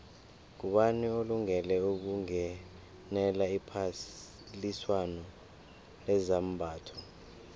ngubani olungele ukungenela iphaliswano lezambatho